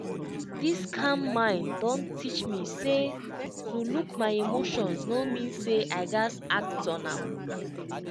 this calm mind don teach me say to look my emotions no mean say i gaz act on am.